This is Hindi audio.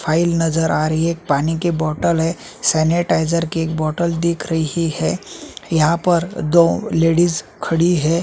फाइल नजर आ रही है पानी की बोतल है सेनेटाइज़र की एक बोतल दिख रही है यहाँ पर दो लेडीज खड़ी है।